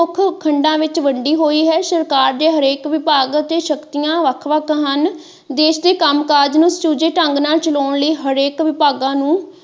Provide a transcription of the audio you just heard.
ਖੰਡਾ ਵਿੱਚ ਵੰਡੀ ਹੋਈ ਹੈ ਸਰਕਾਰ ਦੇ ਹਰੇਕ ਵਿਭਾਗ ਅਤੇ ਸ਼ਕਤੀਆਂ ਵੱਖ ਵੱਖ ਹਨ ਦੇਸ਼ ਦੇ ਕੰਮ ਕਾਜ ਨੂੰ ਸੁਚੱਜਾ ਢੰਗ ਨਾਲ ਚਲਾਉਣ ਲਈ ਹਰੇਕ ਵਿਭਾਗਾਂ ਨੂੰ।